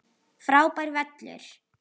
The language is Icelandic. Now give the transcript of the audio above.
Frábær völlur.